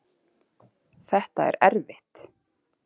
Þetta er erfitt